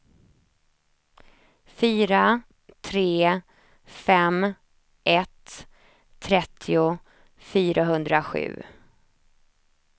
fyra tre fem ett trettio fyrahundrasju